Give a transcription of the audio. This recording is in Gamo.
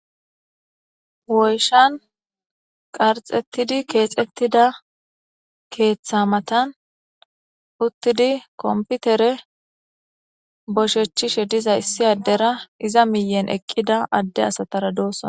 woyshan qarxettidi keexettida keeththa matan uttidi komputere boshechishe diza issi addera iza miyen eqqida adde asatara dooson